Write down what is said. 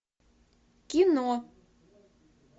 кино